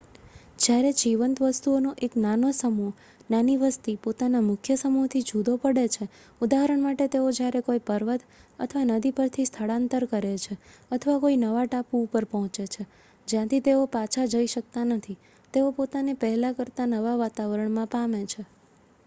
જયારે જીવંત વસ્તુઓનો એક નાનો સમૂહ નાની વસ્તી પોતાનાં મુખ્ય સમૂહ થી જુદો પડે છે ઉદાહરણ માટે તેઓ જયારે કોઈ પર્વત અથવા નદીપરથી સ્થળાંતર કરે છે અથવા કોઈ નવા ટાપુ ઉપર પોહચે છે જ્યાંથી તેઓ પાછા જઈ શકતા નથી તેઓ પોતાને પહેલા કરતા નવા વાતાવરણમાં પામે છે